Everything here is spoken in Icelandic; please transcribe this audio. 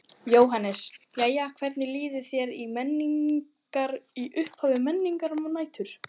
Jóhannes: Jæja hvernig líður þér á Menningar, í upphafi Menningarnætur?